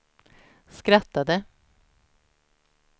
skrattade